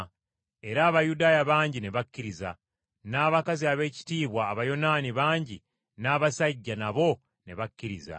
Era Abayudaaya bangi ne bakkiriza, n’abakazi ab’ekitiibwa Abayonaani bangi n’abasajja, nabo ne bakkiriza.